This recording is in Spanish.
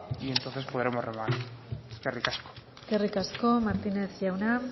y entonces podremos remar eskerrik asko eskerrik asko martínez jauna